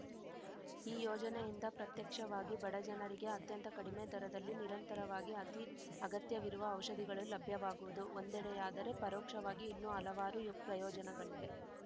ಈ ಯೋಜನೆಯಿಂದ ಪ್ರತ್ಯಕ್ಷವಾಗಿ ಬಡ ಜನರಿಗೆ ಅತ್ಯಂತ ಕಡಿಮೆ ದರದಲ್ಲಿ ನಿರಂತರವಾಗಿ ಅತಿ ಅಗತ್ಯವಿರುವ ಔಷಧಿಗಳು ಲಭ್ಯವಾಗುವುದು ಒಂದೆಡೆಯಾದರೆ ಪರೋಕ್ಷವಾಗಿ ಇನ್ನೂ ಹಲವಾರು ಪ್ರಯೋಜನಗಳಿವೆ